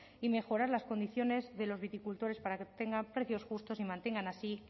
y mejorar las condiciones de los viticultores para que tengan precios justos y mantengan así